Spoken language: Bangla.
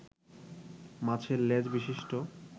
মাছের লেজ বিশিষ্ট